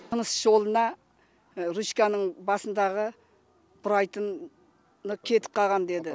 тыныс жолына ручканың басындағы бұрайтын кетіп қалған деді